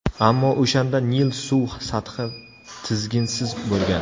Ammo o‘shanda Nil suv sathi tizginsiz bo‘lgan.